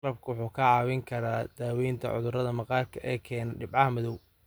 Malabku wuxuu kaa caawin karaa daaweynta cudurrada maqaarka ee keena dhibco madow.